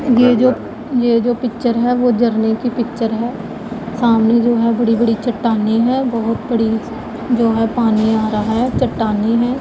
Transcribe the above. ये जो ये जो पिक्चर है वो झरने की पिक्चर है सामने जो है बड़ी बड़ी चट्टानें है बहोत बड़ी जो है पानी आ रहा है चट्टानी है।